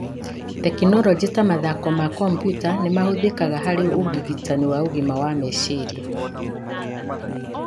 Tekinoronjĩ ta mathako ma kompiuta nĩ mahũthĩkaga harĩ ũrigitani wa ũgima wa meciria,